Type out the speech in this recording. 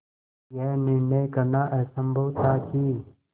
यह निर्णय करना असम्भव था कि